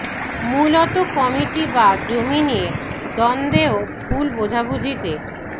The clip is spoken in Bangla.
মূলত কমিটি বা জমি নিয়ে দ্বন্দ্বে ও ভুল বোঝাবুঝিতে